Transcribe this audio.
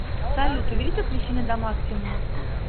салют увеличь освещение до максимума